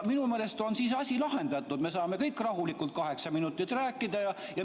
Minu meelest on siis asi lahendatud, me saame kõik rahulikult kaheksa minutit rääkida.